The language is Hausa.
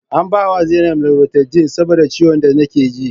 An bawa zainab loratidine saboda ciwon da nake ji